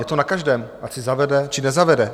Je to na každém, ať si zavede, či nezavede.